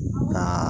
Nka